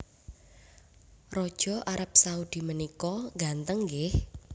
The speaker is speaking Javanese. Raja Arab Saudi menika ngganteng nggih